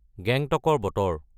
গেংটকৰ বতৰ